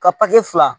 Ka papiye fila